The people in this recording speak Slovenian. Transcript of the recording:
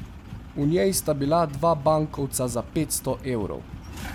V njej sta bila dva bankovca za petsto evrov.